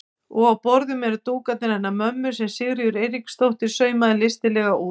Og á borðum eru dúkarnir hennar mömmu sem Sigríður Eiríksdóttir saumaði listilega út.